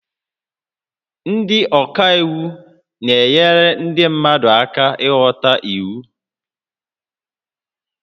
Ndị ọka iwu na-enyere ndị mmadụ aka ịghọta iwu